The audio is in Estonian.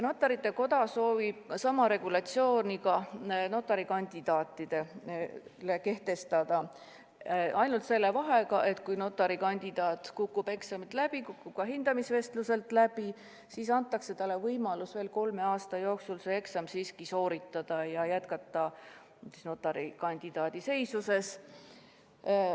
Notarite Koda soovib sama regulatsiooni ka notari kandidaatidele kehtestada, ainult selle vahega, et kui notari kandidaat kukub eksamil läbi ja kukub ka hindamisvestlusel läbi, siis antakse talle võimalus kolme aasta jooksul see eksam siiski sooritada ja jätkata notari kandidaadi seisuses.